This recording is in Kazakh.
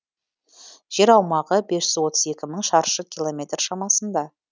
жер аумағы бес жүз отыз екі мың шаршы километр шамасында